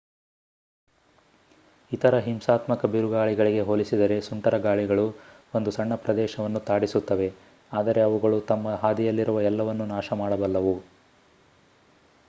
ಇತರ ಹಿಂಸಾತ್ಮಕ ಬಿರುಗಾಳಿಗಳಿಗೆ ಹೋಲಿಸಿದರೆ ಸುಂಟರಗಾಳಿಗಳು ಒಂದು ಸಣ್ಣ ಪ್ರದೇಶವನ್ನು ತಾಡಿಸುತ್ತವೆ ಆದರೆ ಅವುಗಳು ತಮ್ಮ ಹಾದಿಯಲ್ಲಿರುವ ಎಲ್ಲವನ್ನೂ ನಾಶಮಾಡಬಲ್ಲವು